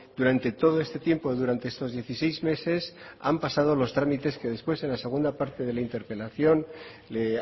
durante todo este tiempo durante estos dieciséis meses han pasado los trámites que después en la segunda parte de la interpelación le